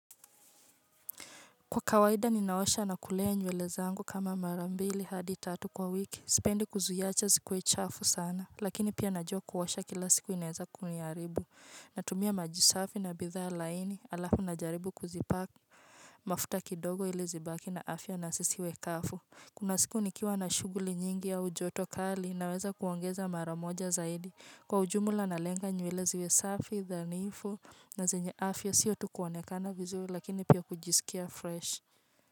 Kwa kawaida ninaosha na kulea nywele zangu kama mara mbili hadi tatu kwa wiki sipendi kuziacha zikuwe chafu sana lakini pia najua kuosha kila siku inaeza kuniharibu natumia maji safi na bidhaa laini alafu najaribu kuzipaka mafuta kidogo ili zibaki na afya na sisiwe kafu kuna siku nikiwa na shughuli nyingi au joto kali naweza kuongeza mara moja zaidi kwa ujumla nalenga nywele ziwe safi dhanifu na zenye afya sio tu kuonekana vizuri lakini pia kujisikia fresh.